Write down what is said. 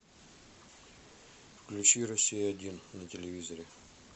включи россия один на телевизоре